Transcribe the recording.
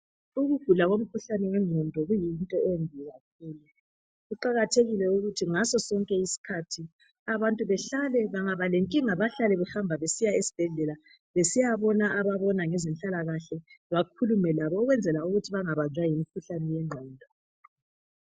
Ukugula komkhuhlane wenqondo kuluhlupho olukhulu kuqakathekile ukuthi ngaso sonke isikhathi abantu bahlale bangaba lenkinga besiya esibhedlela besiyabona ababona ngezempila kahle bakhulume labo ukwenzela ukuthi bangabanjwa ngumkhuhlane wenqondo